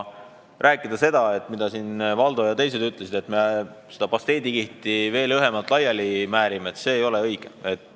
Aga teha nii, nagu Valdo ja teised ütlesid, et me seda pasteedikihti veel õhemalt laiali määrime – see ei ole õige.